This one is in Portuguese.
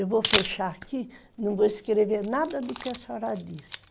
Eu vou fechar aqui, não vou escrever nada do que a senhora disse.